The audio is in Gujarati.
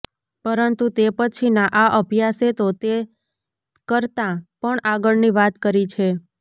પરંતુ તે પછીના આ અભ્યાસે તો તે કરતાં પણ આગળની વાત કરી છે